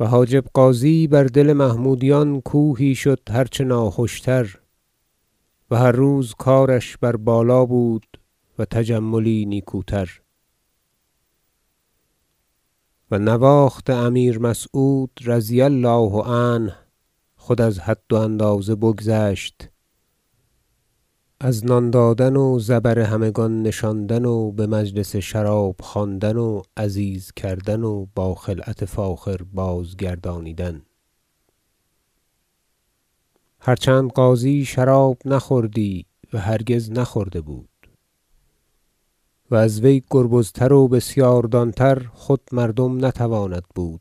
و حاجب غازی بر دل محمودیان کوهی شد هر چه ناخوش تر و هر روز کارش بر بالا بود و تجملی نیکوتر و نواخت امیر مسعود رضی الله عنه خود از حد و اندازه بگذشت از نان دادن و زبر همگان نشاندن و بمجلس شراب خواندن و عزیز کردن و با خلعت فاخر بازگردانیدن هرچند غازی شراب نخوردی و هرگز نخورده بود و از وی گربزتر و بسیار دان تر خود مردم نتواند بود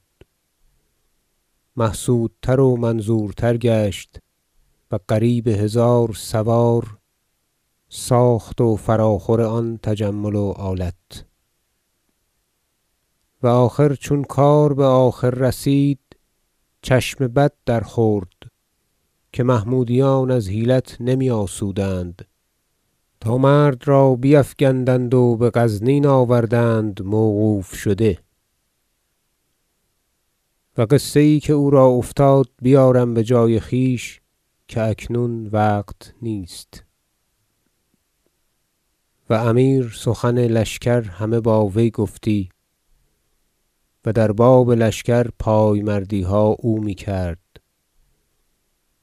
محسودتر و منظورتر گشت و قریب هزار سوار ساخت و فراخور آن تجمل و آلت و آخر چون کار بآخر رسید چشم بد درخورد که محمودیان از حیلت نمی آسودند تا مرد را بیفگندند و بغزنین آوردند موقوف شده و قصه یی که او را افتاد بیارم بجای خویش که اکنون وقت نیست و امیر سخن لشکر همه با وی گفتی و در باب لشکر پای مردیها او میکرد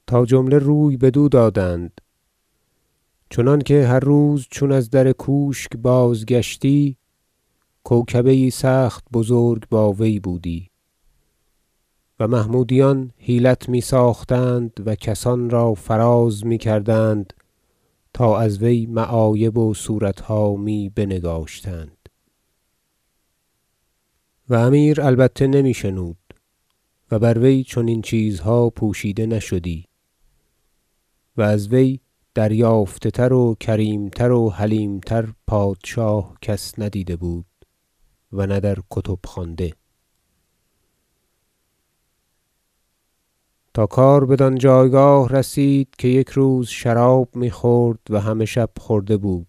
تا جمله روی بدو دادند چنانکه هر روز چون از در کوشک بازگشتی کوکبه یی سخت بزرگ با وی بودی و محمودیان حیلت می ساختند و کسان را فراز میکردند تا از وی معایب و صورتها می بنگاشتند و امیر البته نمی شنود و بر وی چنین چیزها پوشیده نشدی- و از وی دریافته تر و کریم تر و حلیم تر پادشاه کس ندیده بود و نه در کتب خوانده- تا کار بدان جایگاه رسید که یک روز شراب میخورد و همه شب خورده بود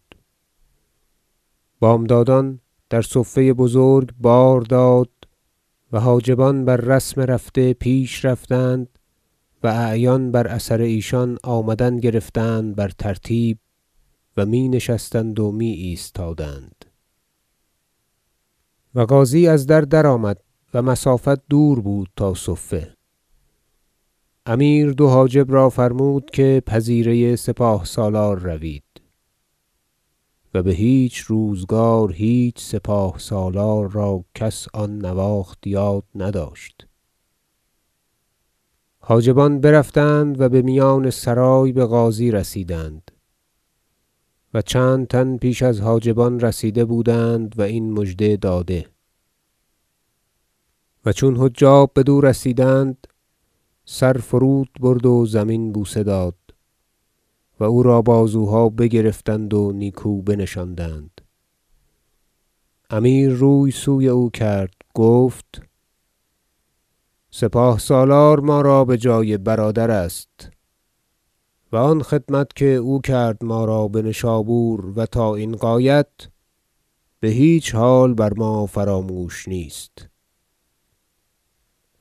بامدادان در صفه بزرگ بار داد و حاجبان بر رسم رفته پیش رفتند و اعیان بر اثر ایشان آمدن گرفتند بر ترتیب و می نشستند و می ایستادند و غازی از در درآمد و مسافت دور بود تا صفه امیر دو حاجب را فرمود که پذیره سپاه سالار روید و بهیچ روزگار هیچ سپاه سالار را کس آن نواخت یاد نداشت حاجبان برفتند و بمیان سرای بغازی رسیدند و چند تن پیش از حاجبان رسیده بودند و این مژده داده و چون حجاب بدو رسیدند سر فرود برد و زمین بوسه داد و او را بازوها بگرفتند و نیکو بنشاندند امیر روی سوی او کرد گفت سپاه سالار ما را بجای برادر است و آن خدمت که او کرد ما را بنشابور و تا این غایت بهیچ حال بر ما فراموش نیست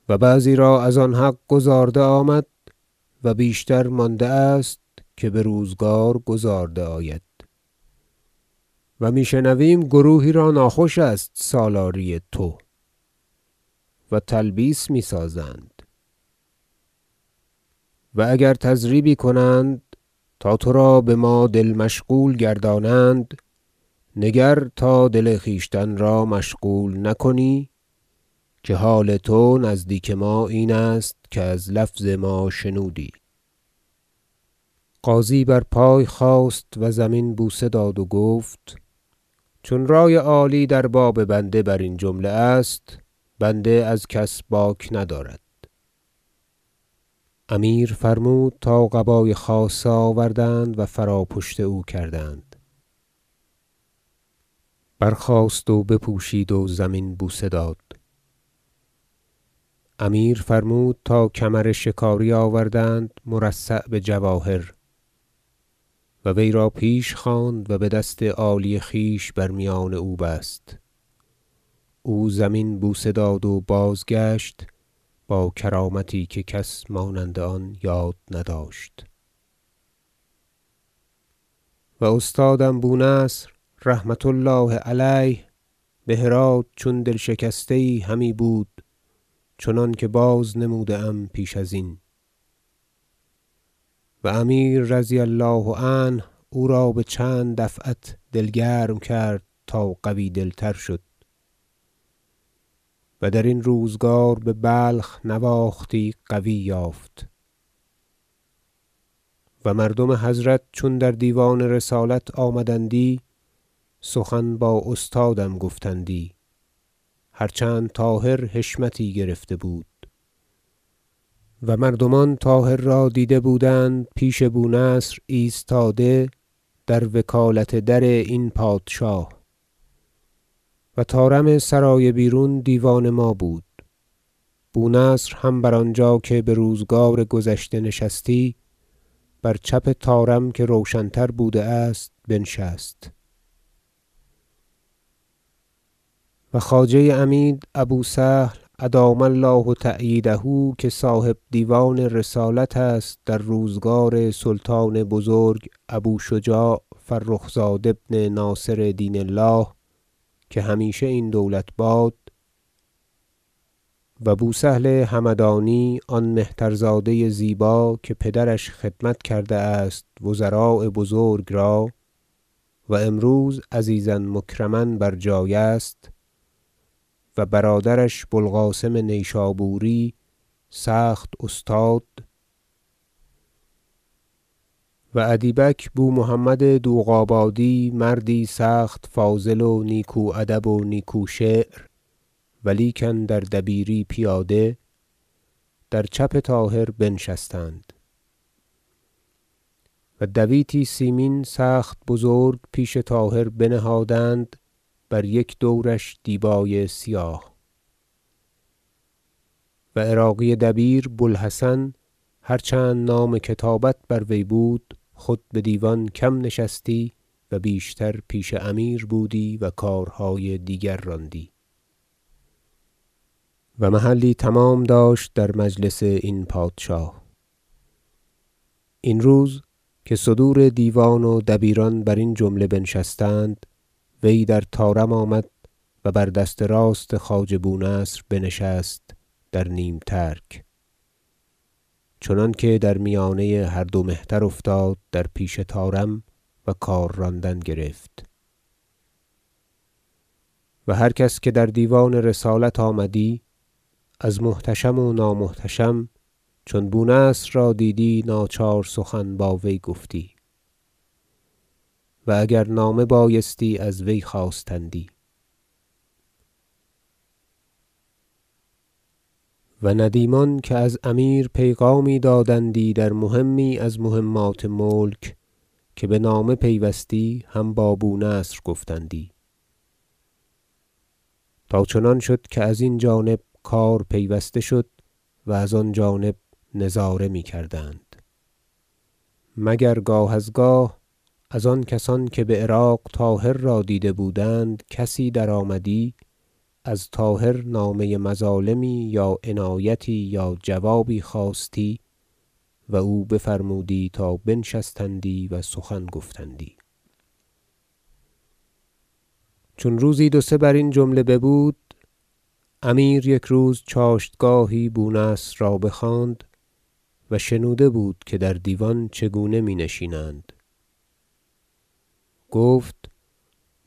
و بعضی را از آن حق گزارده آمد و بیشتر مانده است که بروزگار گزارده آید و می شنویم که گروهی را ناخوش است سالاری تو و تلبیس می سازند و اگر تضریبی کنند تا ترا بما دل مشغول گردانند نگر تا دل خویشتن را مشغول نکنی که حال تو نزدیک ما این است که از لفظ ما شنودی غازی برپای خاست و زمین بوسه داد و گفت چون رأی عالی در باب بنده برین جمله است بنده از کس باک ندارد امیر فرمود تا قبای خاصه آوردند و فراپشت او کردند برخاست و بپوشید و زمین بوسه داد امیر فرمود تا کمر شکاری آوردند مرصع بجواهر و وی را پیش خواند و بدست عالی خویش بر میان او بست او زمین بوسه داد و بازگشت با کرامتی که کس مانند آن یاد نداشت و استادم بو نصر رحمة الله علیه بهرات چون دل شکسته یی همی بود چنانکه بازنموده ام پیش ازین و امیر رضی الله عنه او را بچند دفعت دل گرم کرد تا قوی دل تر شد و درین روزگار ببلخ نواختی قوی یافت و مردم حضرت چون در دیوان رسالت آمدندی سخن با استادم گفتندی هر چند طاهر حشمتی گرفته بود و مردمان طاهر را دیده بودند پیش بو نصر ایستاده در وکالت در این پادشاه و طارم سرای بیرون دیوان ما بود بو نصر هم بر آنجا که بروزگار گذشته نشستی بر چپ طارم که روشن تر بوده است بنشست و خواجه عمید ابو سهل ادام الله تأییده که صاحب دیوان رسالت است در روزگار سلطان بزرگ ابو شجاع فرخ زاد ابن ناصر دین الله که همیشه این دولت باد و بو سهل همدانی آن مهترزاده زیبا که پدرش خدمت کرده است وزراء بزرگ را و امروز عزیزا مکرما بر جای است و برادرش بو القاسم نیشابوری سخت استاد و ادیبک بو محمد دوغابادی مردی سخت فاضل و نیکو ادب و نیکو شعر و لیکن در دبیری پیاده در چپ طاهر بنشستند و دویتی سیمین سخت بزرگ پیش طاهر بنهادند بر یک دورش دیبای سیاه و عراقی دبیر بو الحسن هرچند نام کتابت بر وی بود خود بدیوان کم نشستی و بیشتر پیش امیر بودی و کارهای دیگر راندی و محلی تمام داشت در مجلس این پادشاه این روز که صدور دیوان و دبیران برین جمله بنشستند وی در طارم آمد و بر دست راست خواجه بونصر بنشست در نیم ترک چنانکه در میانه هر دو مهتر افتاد در پیش طارم و کار راندن گرفت و هر کس که در دیوان رسالت آمدی از محتشم و نامحتشم چون بو نصر را دیدی ناچار سخن با وی گفتی و اگر نامه بایستی از وی خواستندی و ندیمان که از امیر پیغامی دادندی در مهمی از مهمات ملک که بنامه پیوستی هم با بو نصر گفتندی تا چنان شد که از این جانب کار پیوسته شد و از آن جانب نظاره میکردند مگر گاه از گاه از آن کسان که بعراق طاهر را دیده بودند کسی درآمدی از طاهرنامه مظالمی یا عنایتی یا جوازی خواستی و او بفرمودی تا بنبشتندی و سخن گفتندی چون روزی دو سه برین جمله ببود امیر یک روز چاشتگاهی بو نصر را بخواند- و شنوده بود که در دیوان چگونه می نشینند- گفت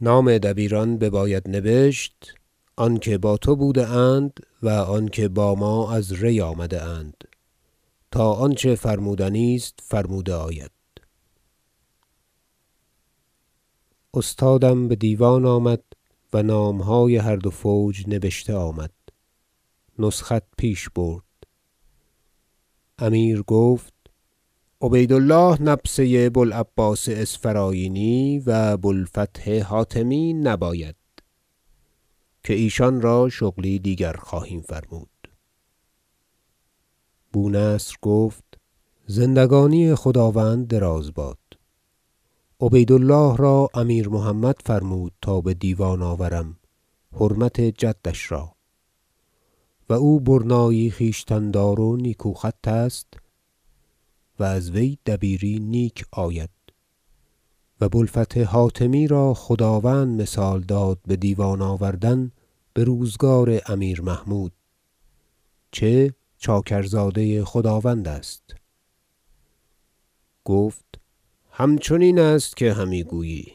نام دبیران بباید نبشت آنکه با تو بوده اند و آنکه با ما از ری آمده اند تا آنچه فرمودنی است فرموده آید استادم بدیوان آمد و نامهای هر دو فوج نبشته آمد نسخت پیش برد امیر گفت عبید الله نبسه بو العباس اسفرایینی و بو الفتح حاتمی نباید که ایشان را شغلی دیگر خواهیم فرمود بو نصر گفت زندگانی خداوند دراز باد عبید الله را امیر محمد فرمود تا بدیوان آوردم حرمت جدش را و او برنایی خویشتن دار و نیکو خط است و از وی دبیری نیک آید و بو الفتح حاتمی را خداوند مثال داد بدیوان آوردن بروزگار امیر محمود چه چاکرزاده خداوند است گفت همچنین است که همی گویی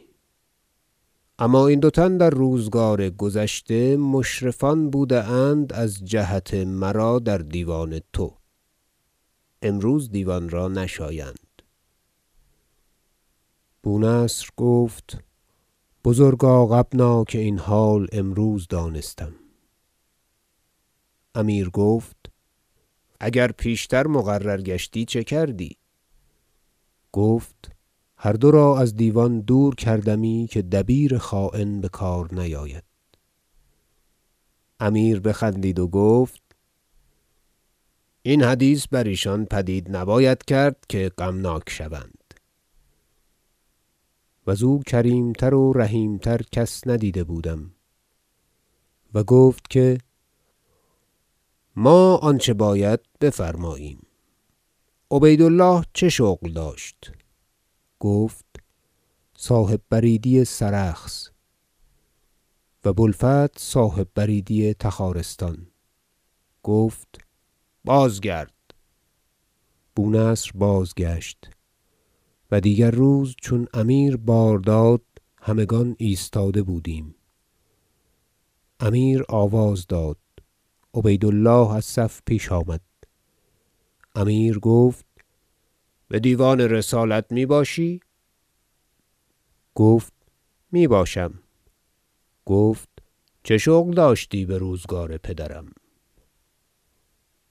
اما این دو تن در روزگار گذشته مشرفان بوده اند از جهت مرا در دیوان تو امروز دیوان را نشایند بو نصر گفت بزرگاغبنا که این حال امروز دانستم امیر گفت اگر پیشتر مقرر گشتی چه کردی گفت هر دو را از دیوان دور کردمی که دبیر خاین بکار نیاید امیر بخندید و گفت این حدیث بر ایشان پدید نباید کرد که غمناک شوند- و زو کریم تر و رحیم تر کس ندیده بودم- و گفت که ما آنچه باید بفرماییم عبید الله چه شغل داشت گفت صاحب بریدی سرخس و بو الفتح صاحب بریدی تخارستان گفت بازگرد بو نصر بازگشت و دیگر روز چون امیر بارداد همگان ایستاده بودیم امیر آواز داد عبید الله از صف پیش آمد امیر گفت بدیوان رسالت می باشی گفت میباشم گفت چه شغل داشتی بروزگار پدرم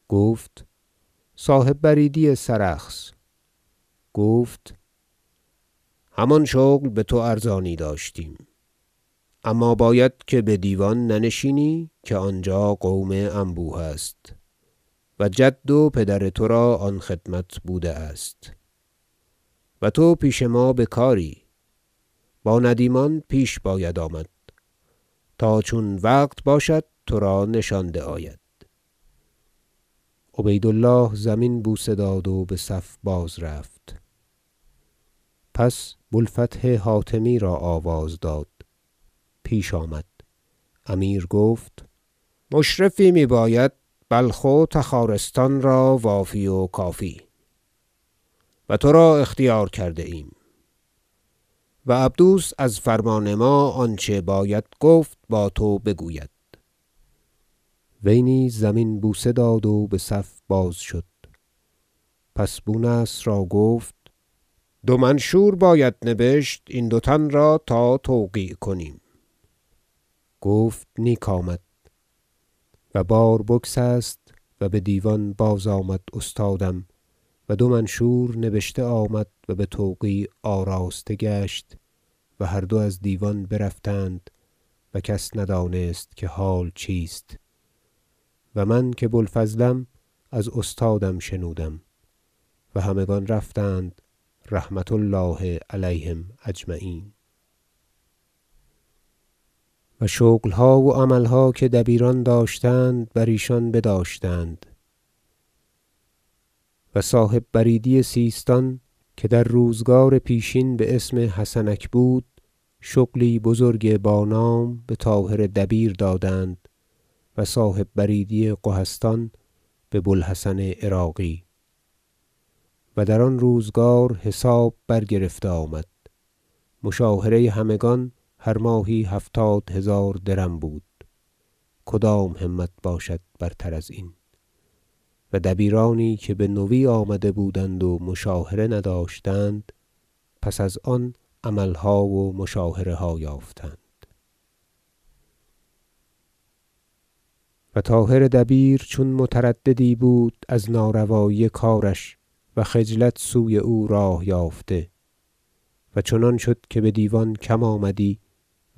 گفت صاحب بریدی سرخس گفت همان شغل بتو ارزانی داشتیم اما باید که بدیوان ننشینی که آنجا قوم انبوه است و جد و پدر ترا آن خدمت بوده است و تو پیش ما بکاری با ندیمان پیش باید آمد تا چون وقت باشد ترا نشانده آید عبید الله زمین بوسه داد و بصف بازرفت پس بو الفتح حاتمی را آواز داد پیش آمد امیر گفت مشرفی می باید بلخ و تخارستان را وافی و کافی و ترا اختیار کرده ایم و عبدوس از فرمان ما آنچه باید گفت با تو بگوید وی نیز زمین بوسه داد و بصف باز شد پس بو نصر را گفت دو منشور باید نبشت این دو تن را تا توقیع کنیم گفت نیک آمد و بار بگسست و بدیوان بازآمد استادم و دو منشور نبشته آمد و بتوقیع آراسته گشت و هر دو از دیوان برفتند و کس ندانست که حال چیست و من که بو الفضلم از استادم شنودم و همگان رفتند رحمة الله علیهم اجمعین و شغلها و عملها که دبیران داشتند بر ایشان بداشتند و صاحب بریدی سیستان که در روزگار پیشین باسم حسنک بود شغلی بزرگ بانام بطاهر دبیر دادند و صاحب بریدی قهستان ببو الحسن عراقی و در آن روزگار حساب برگرفته آمد مشاهره همگان هر ماهی هفتاد هزار درم بود کدام همت باشد برتر ازین و دبیرانی که به نوی آمده بودند و مشاهره نداشتند پس از آن عملها و مشاهره ها یافتند و طاهر دبیر چون مترددی بود از ناروایی کارش و خجلت سوی او راه یافته و چنان شد که بدیوان کم آمدی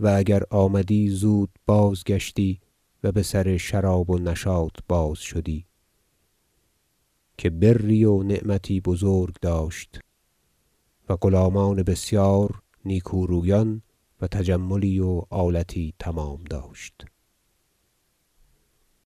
و اگر آمدی زود بازگشتی و بسر شراب و نشاط باز شدی که بری و نعمتی بزرگ داشت و غلامان بسیار نیکورویان و تجملی و آلتی تمام داشت